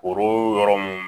Foro yɔrɔ mun